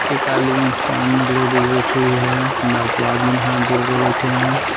एक आदमीन सामने लेडीज़ बैठी हुई है बाकी आदमीन हाथ जोड़ के बैठे है।